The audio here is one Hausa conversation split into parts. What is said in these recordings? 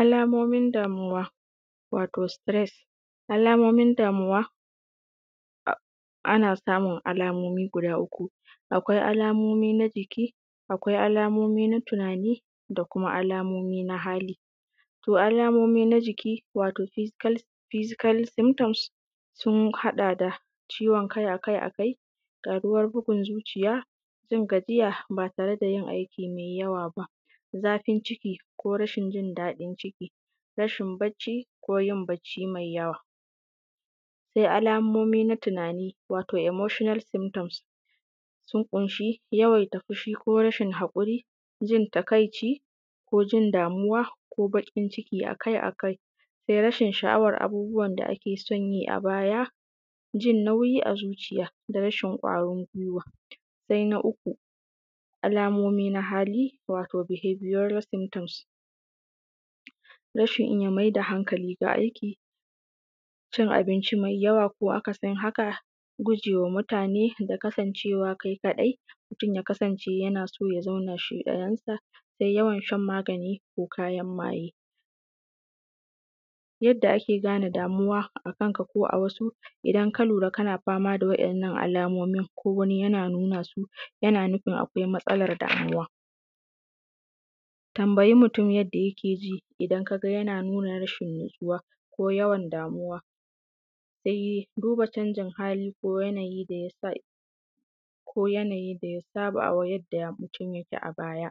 alamomin damuwa, wato sitires, alamomin damuwa ana samun alamomi guda uku: akwai alamomi na jiki, akwai alamomi na tunani, da kuma alamomi na hali. To, alamomi na jiki, wato fizikal simtoms, sun haɗa da: ciwon kai a kai a kai, ƙaruwan bugun zuciya, jin gajiya ba tare da yin aiki me yawa ba, zafin ciki ko rasin jin daɗin ciki, rashin bacci ko yin bacci me yawa. Se alamomi na tunani, wato moshonal simtoms, sun ƙunshi: yawaita fushi ko rashin haƙuri, jin takaici ko jin damuwa ko bakin ciki akai-akai, se rashin sha’awan abubuwan da ake son yi a baya, jin nauyi a zuciya, da rashin kwarin gwiwa. Sai na uku, alamomi na hali, wato bihabiyoral simtoms: rashin iya maida haŋkali da aiki, cin abinci me yawa ko akasin haka, gujewa mutane da rasin kasancewa kai kaɗai. mutum ya kasance yana so ya zauna shi ɗayan sa, da yawan shan magani ko kayan maye. Yadda ake gane damuwa a kanka ko wasu: idan ka lura kana da waɗannan alamomi ko wani yana nuna su, yana nufin akwai matsalar rayuwa. Tambayi mutum yanda yake ji, idan ka ga yana nuna rashin natsuwa ko yawan damuwa, dai duba canjin hali ko yanayi da yasa, ko yanayi da yasa a ba, ko yadda mutum yake a baya.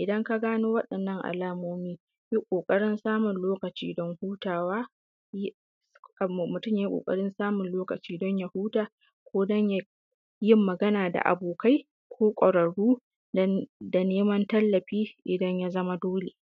Idan ka gano waɗannan alamomi, ka yi ƙoƙarin samun lokaci don hutawa, mutum ya yi ƙwararru da neman tallafi idan ya zama dole.